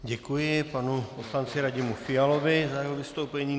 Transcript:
Děkuji panu poslanci Radimu Fialovi za jeho vystoupení.